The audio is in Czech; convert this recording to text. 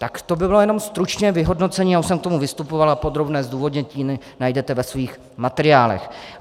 Tak to by bylo jenom stručně vyhodnocení, já už jsem k tomu vystupoval a podrobné zdůvodnění najdete ve svých materiálech.